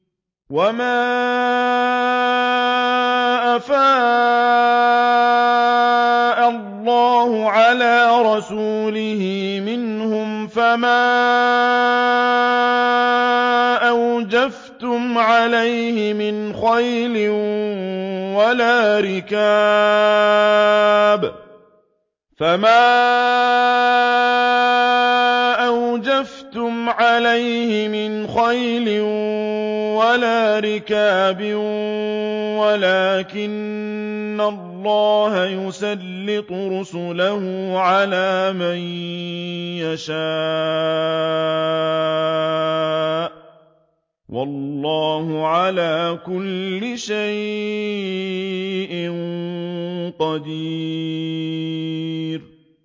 وَمَا أَفَاءَ اللَّهُ عَلَىٰ رَسُولِهِ مِنْهُمْ فَمَا أَوْجَفْتُمْ عَلَيْهِ مِنْ خَيْلٍ وَلَا رِكَابٍ وَلَٰكِنَّ اللَّهَ يُسَلِّطُ رُسُلَهُ عَلَىٰ مَن يَشَاءُ ۚ وَاللَّهُ عَلَىٰ كُلِّ شَيْءٍ قَدِيرٌ